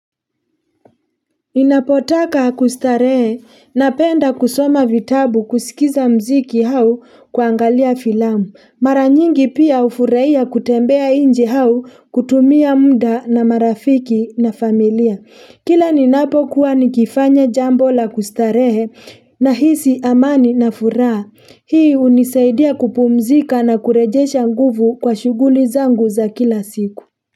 Ninapotaka kustarehe napenda kusoma vitabu, kusikiza muziki au kuangalia filamu. Mara nyingi pia hufurahia kutembea nje au kutumia muda na marafiki na familia. Kila ninapokuwa nikifanya jambo la kustarehe, nahisi amani na furaha. Hii hunisaidia kupumzika na kurejesha nguvu kwa shughuli zangu za kila siku.